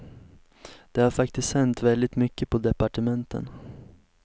Det har faktiskt hänt väldigt mycket på departementen.